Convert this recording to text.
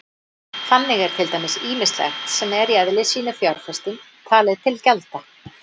Þannig er til dæmis ýmislegt sem er í eðli sínu fjárfesting talið til gjalda.